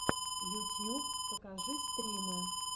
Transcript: ютьюб покажи стримы